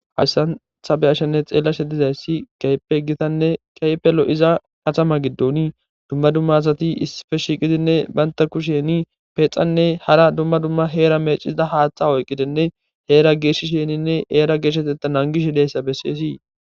hayssan ta be'ashanne xeellashe dizayssi keype gitanne keypelo iza kaxama giddoni dumma dumma asati isife shiiqidinne baynta ku sheeni peexanne hara dumma dumma heera mecisida haaththa oyqqidenne heera geeshi sheeninne eera geeshsheteta nangish hideyssa besseesii